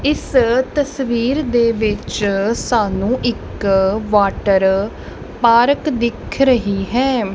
ਇਸ ਤਸਵੀਰ ਦੇ ਵਿੱਚ ਸਾਨੂੰ ਇੱਕ ਵਾਟਰ ਪਾਰਕ ਦਿਖ ਰਹੀ ਹੈ।